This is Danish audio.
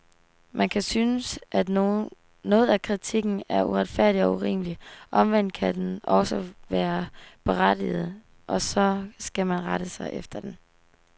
Man kan synes, at noget af kritikken er uretfærdig og urimelig, omvendt kan den også være berettiget, og så skal man rette sig efter den.